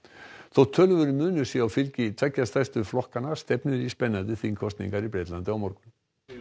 þótt töluverður munur sé á fylgi tveggja stærstu flokkanna stefnir í spennandi þingkosningar í Bretlandi á morgun